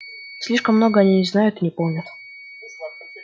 слишком много они не знают и не помнят